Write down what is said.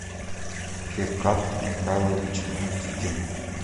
феркат михайлович никитин